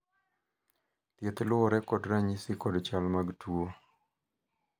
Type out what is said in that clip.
thieth luwore kod ranyisi kod chal mag tuo